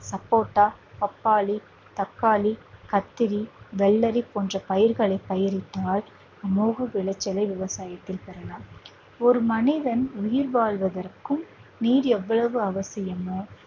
சப்போட்டா, பப்பாளி, தக்காளி, கத்திரி வெள்ளரி, போன்ற பயிர்களை பயிரிட்டால் அமோக விளைச்சலை விவசாயிகள் பெறலாம் ஒரு மனிதன் உயிர் வாழ்வதற்கும் நீர் எவ்வளவு அவசியமோ